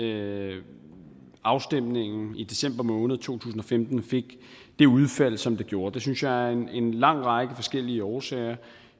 at afstemningen i december måned to tusind og femten fik det udfald som den gjorde det synes jeg af en lang række forskellige årsager